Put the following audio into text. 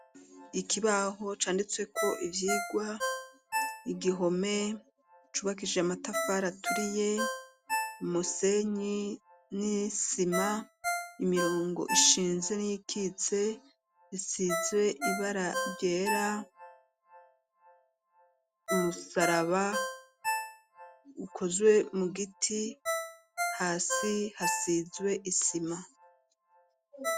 Ikibaho canditsweko ivyigwa, igihome cubakishije amatafari aturiye ,umusenyi n'isima, imirongo ishinze n'iyikitse isizwe ibara ryera ,umusaraba ukozwe mu giti ,hasi hasizwe isima.